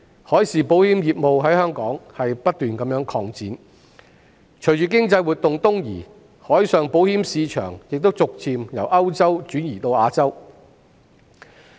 海事保險業務在香港不斷擴展，隨着經濟活動東移，海上保險市場亦逐漸由歐洲轉移至亞洲。